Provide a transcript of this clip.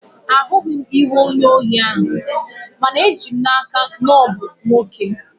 Ahụghị m ihu onye ohi ahụ, mana eji m n'aka na ọ bụ nwoke